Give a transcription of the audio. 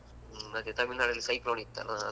ಹ್ಮ್ ಮತ್ತೆ ತಮಿಳ್ನಾಡಲ್ಲಿ cyclone ಇತ್ತಲ್ಲಾ.